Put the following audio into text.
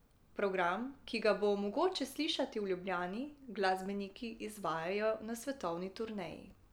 Program, ki ga bo mogoče slišati v Ljubljani, glasbeniki izvajajo na svetovni turneji.